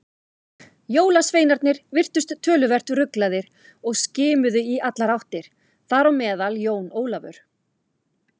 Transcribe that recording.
Jólasveinarnir virtust töluvert ruglaðir og skimuðu í allar áttir, þar á meðal Jón Ólafur.